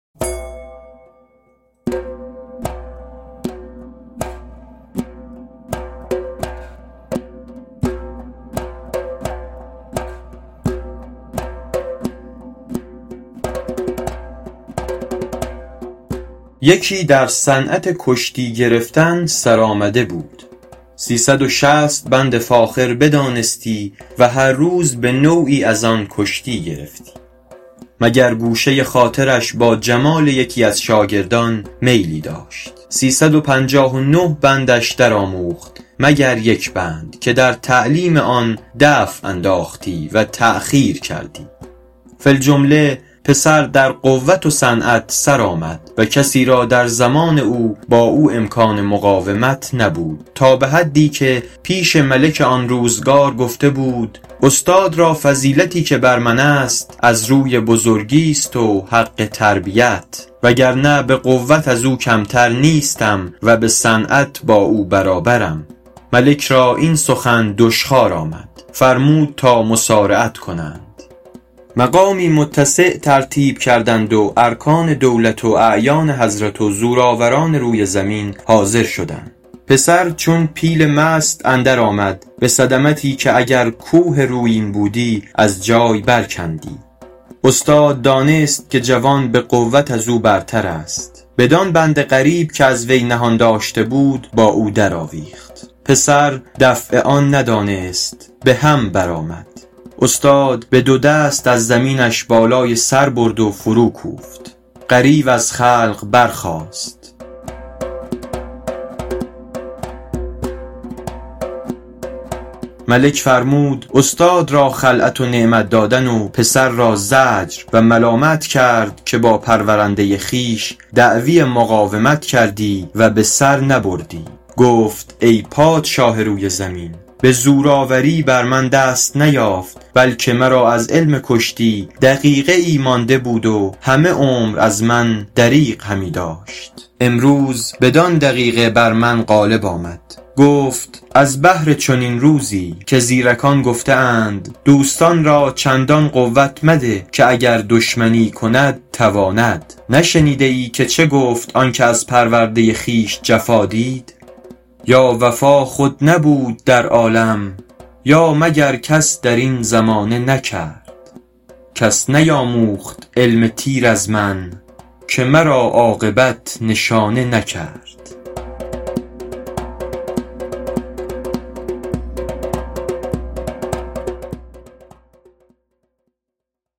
یکی در صنعت کشتی گرفتن سرآمده بود سی صد و شصت بند فاخر بدانستی و هر روز به نوعی از آن کشتی گرفتی مگر گوشه خاطرش با جمال یکی از شاگردان میلی داشت سی صد و پنجاه و نه بندش در آموخت مگر یک بند که در تعلیم آن دفع انداختی و تأخیر کردی فی الجمله پسر در قوت و صنعت سر آمد و کسی را در زمان او با او امکان مقاومت نبود تا به حدی که پیش ملک آن روزگار گفته بود استاد را فضیلتی که بر من است از روی بزرگیست و حق تربیت وگرنه به قوت از او کمتر نیستم و به صنعت با او برابرم ملک را این سخن دشخوار آمد فرمود تا مصارعت کنند مقامی متسع ترتیب کردند و ارکان دولت و اعیان حضرت و زورآوران روی زمین حاضر شدند پسر چون پیل مست اندر آمد به صدمتی که اگر کوه رویین بودی از جای بر کندی استاد دانست که جوان به قوت از او برتر است بدان بند غریب که از وی نهان داشته بود با او در آویخت پسر دفع آن ندانست به هم بر آمد استاد به دو دست از زمینش بالای سر برد و فرو کوفت غریو از خلق برخاست ملک فرمود استاد را خلعت و نعمت دادن و پسر را زجر و ملامت کرد که با پرورنده خویش دعوی مقاومت کردی و به سر نبردی گفت ای پادشاه روی زمین به زورآوری بر من دست نیافت بلکه مرا از علم کشتی دقیقه ای مانده بود و همه عمر از من دریغ همی داشت امروز بدان دقیقه بر من غالب آمد گفت از بهر چنین روزی که زیرکان گفته اند دوست را چندان قوت مده که دشمنی کند تواند نشنیده ای که چه گفت آن که از پرورده خویش جفا دید یا وفا خود نبود در عالم یا مگر کس در این زمانه نکرد کس نیاموخت علم تیر از من که مرا عاقبت نشانه نکرد